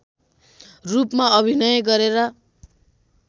रूपमा अभिनय गरेर